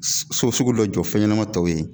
So sugu dɔ jɔ fɛnɲɛnama tɔw ye